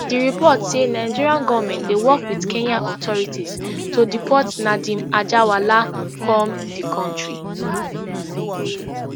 di report say nigerian goment dey work wit kenyan authorities to deport nadeem anjarwalla come di kontri